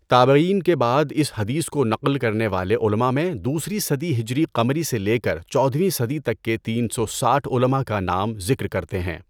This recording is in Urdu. تابعین کے بعد اس حدیث کو نقل کرنے والے علماء میں دوسری صدی ہجری قمری سے لے کر چودہویں صدی تک کے تین سو ساٹھ علماء کا نام ذکر کرتے ہیں۔